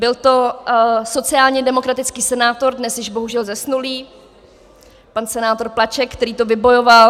Byl to sociálně demokratický senátor, dnes již bohužel zesnulý pan senátor Plaček, který to vybojoval.